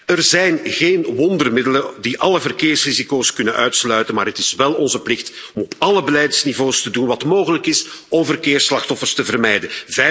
Er zijn geen wondermiddelen die alle verkeersrisico's kunnen uitsluiten, maar het is wel onze plicht om op alle beleidsniveaus te doen wat mogelijk is om verkeersslachtoffers te vermijden.